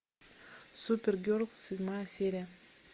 супергерл седьмая серия